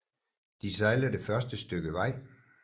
De sejler det første stykke vej